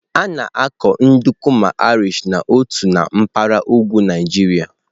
A na-akụ nduku ma Irish na ụtọ na mpaghara ugwu Naijiria.